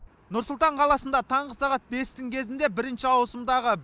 нұр сұлтан қаласында таңғы сағат бестің кезінде бірінші ауысымдағы